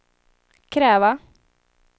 kräva